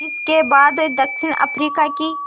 जिस के बाद दक्षिण अफ्रीका की